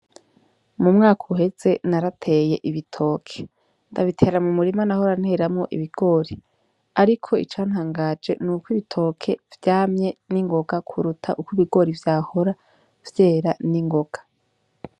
Mu mwaka uheze narateye ibitoke, ndabitera mu murima nahora nteramwo ibigori, ariko icantanganje ni uko ibitoke vyamye 'n'ingoga kuruta uko ibigori vyahora vyera n'ingoga.